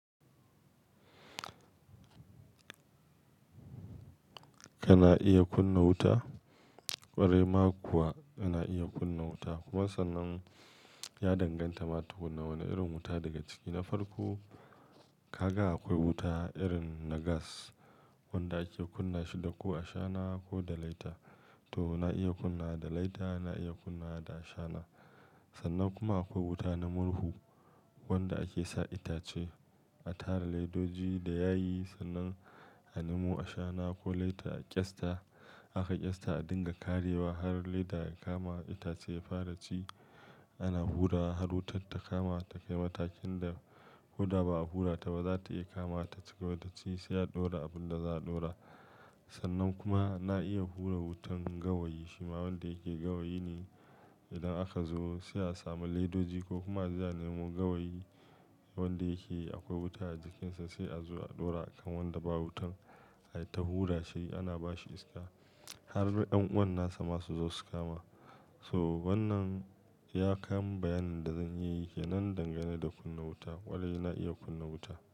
Kana iya kunna wuta? Ƙwarai ma kuwa yana iya kunna wuta. Kuma sannan ya danganta ma tukunna wane irin wuta daga ciki. Na farko, ka ga akwai wuta irin na gas wanda ake kunna shi da ko a shana ko da laita. To na iya kunna da laita, na iya kunna da shana. Sannan kuma akwai wuta na murhu wanda ake sa itace a tara ledoji da yayi sannan a nemo a shana ko laita a ƙyasta. Aka ƙyasta a dinga karewa har leda ya kama itace ya fara ci. Ana hura har wutar ta kama ta kai matakin da ko da ba a hura ta ba za ta iya kamawa ta ci gaba da ci sai a ɗora abinda za'a ɗora. Sannan kuma na iya hura wutan gawayi. Shima wanda yake gawayi ne idan aka zo sai a samu ledoji ko kuma aje a nemo gawayi wanda yake akwai wuta a jikinsa sai a zo a ɗora a kan wanda ba wutan. Ai ta hura shi ana bashi iska har ƴan'uwan nasa masu zo su kama. So wannan iya kan bayanin da zan iya yi kenan dangane da kunna wuta. Ƙwarai na iya kunna wuta.